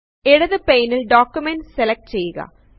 ഇടത് പെയ്നിൽ document select ചെയുക